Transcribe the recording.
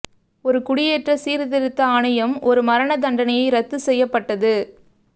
ஒரு குடியேற்ற சீர்திருத்த ஆணையம் ஒரு மரண தண்டனையை ரத்து செய்யப்பட்டது